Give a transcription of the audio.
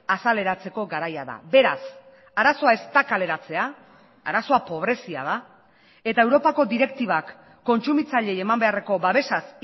azaleratzeko garaia da beraz arazoa ez da kaleratzea arazoa pobrezia da eta europako direktibak kontsumitzaileei eman beharreko babesaz